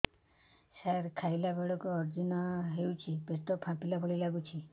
ସାର ଖାଇଲା ବେଳକୁ ଅଜିର୍ଣ ହେଉଛି ପେଟ ଫାମ୍ପିଲା ଭଳି ଲଗୁଛି